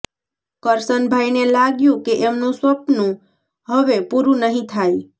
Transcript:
કરશનભાઈને લાગ્યું કે એમનું સપનું હવે પૂરું નહી થાય